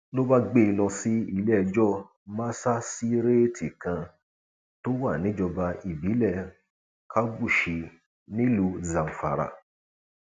ló bá gbé e lọ sí iléẹjọ masasíréètì kan tó wà níjọba ìbílẹ kabushi nílùú zamfara